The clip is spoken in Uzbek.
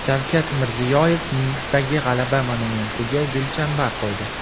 Shavkat Mirziyoyev Minskdagi G‘alaba monumentiga gulchambar qo‘ydi.